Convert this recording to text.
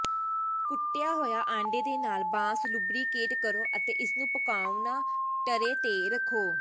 ਕੁੱਟਿਆ ਹੋਇਆ ਆਂਡੇ ਦੇ ਨਾਲ ਬਾਂਸ ਲੁਬਰੀਕੇਟ ਕਰੋ ਅਤੇ ਇਸਨੂੰ ਪਕਾਉਣਾ ਟਰੇ ਤੇ ਰੱਖੋ